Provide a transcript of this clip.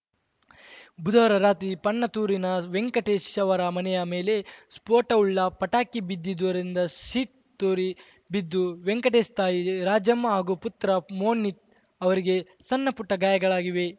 ಬುಧವಾರ ರಾತ್ರಿ ಪಣತ್ತೂರಿನ ವೆಂಕಟೇಶ್‌ ಅವರ ಮನೆಯ ಮೇಲೆ ಸ್ಫೋಟವುಳ್ಳ ಪಟಾಕಿ ಬಿದ್ದಿರುವುದರಿಂದ ಶೀಟ್‌ ತೂರಿ ಬಿದ್ದು ವೆಂಕಟೇಶ್‌ ತಾಯಿ ರಾಜಮ್ಮ ಹಾಗೂ ಪುತ್ರ ಮೋನಿತ್‌ ಅವರಿಗೆ ಸಣ್ಣಪುಟ್ಟಗಾಯಗಳಾಗಿವೆ